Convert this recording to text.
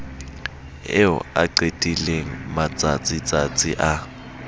eo a qetileng matsatsitsatsi a